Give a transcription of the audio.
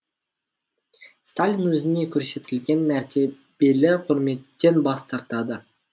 сталин өзіне көрсетілген мәртебелі құрметтен бас тартады